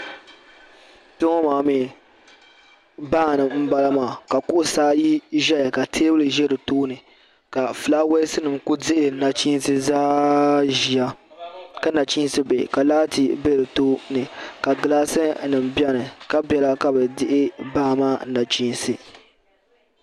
Kpeŋɔ maa mee baani m bala maa ka kuɣusi ayi ʒɛya ka teebuli ʒɛ di tooni ka filaawaasi nima kuli dihili nachinsi zaaha ʒia ka nachinsi bihi ka laati be di tooni ka gilaasi nima biɛni ka bela ka bɛ dihi baa maa nachinsi.